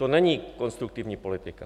To není konstruktivní politika.